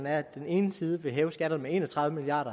at den ene side vil hæve skatterne med en og tredive milliard